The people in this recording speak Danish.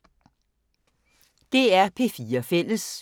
DR P4 Fælles